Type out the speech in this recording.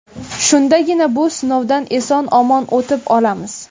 Shundagina bu sinovdan eson-omon o‘tib olamiz.